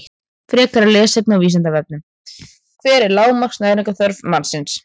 Frekara lesefni á Vísindavefnum: Hver er lágmarks næringarþörf mannsins?